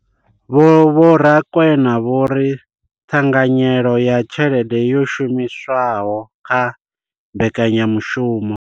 Vho Rakwena vho ri ṱhanganyelo ya tshelede yo shumiswaho kha mbekanya mushumo